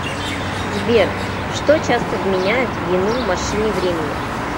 сбер что часто вменяют в вину машине времени